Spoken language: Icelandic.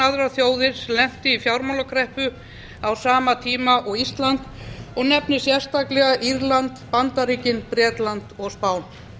aðrar þjóðir sem lentu í fjármálakreppu á sama tíma og ísland og nefnir sérstaklega írland bandaríkin bretland og spán